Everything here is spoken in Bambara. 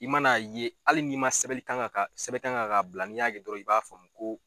I man'a ye ali ni ma sɛbɛli kan ka sɛbɛn kan ka bila n'i y'a ye dɔrɔn i b'a faamu ko